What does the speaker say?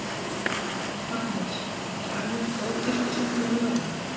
Magnús: Er almennt góð kirkjusókn yfir jólin?